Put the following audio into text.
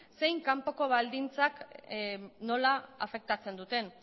zein kanpoko baldintzak nola afektatzen duten